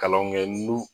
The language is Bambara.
Kalanw kɛ n'u